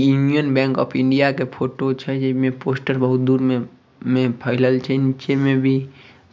इ Indian bank of India के photo छे | एमे पोस्टर बहुत दूर में में फैलल छै। निचे में भी